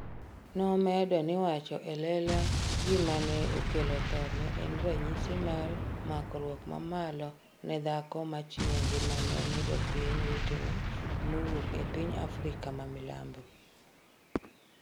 nomedo ni wacho elela gima ne okelo thone en ranyisi mar makruok mamalo ne dhako ma chiwo ngimane ne jopiny wetene mawuok e piny Afrika ma milambo